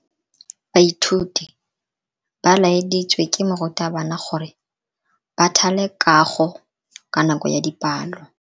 Baithuti ba laeditswe ke morutabana gore ba thale kago ka nako ya dipalo.